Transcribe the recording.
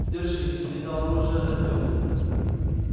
держи передал оружие артёму